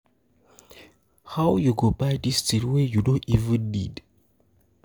How you go buy dis thing wey you no even need?